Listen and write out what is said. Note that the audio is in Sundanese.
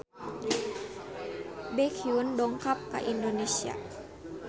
Baekhyun dongkap ka Indonesia